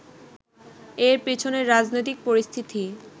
এর পেছনে রাজনৈতিক পরিস্থিতি